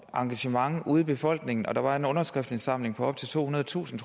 engagement ude i befolkningen der var en underskriftindsamling på op til tohundredetusind